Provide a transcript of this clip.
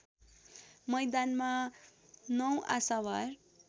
मैदानमा ९ आशावार